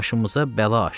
Başımıza bəla açdıq.